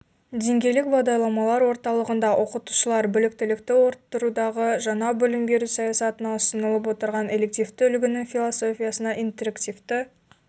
деңгейлік бағдарламалар орталығында оқытушылар біліктілікті арттырудағы жаңа білім беру саясатына ұсынылып отырған элективтік үлгінің философиясына интерактивті